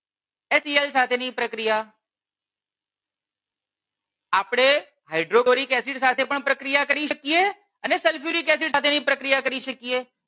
સાથે ની પ્રક્રિયા. આપણે hydrochloric acid સાથે પણ પ્રક્રિયા કરી શકીએ અને sulfuric acid સાથેની પ્રક્રિયા કરી શકીએ.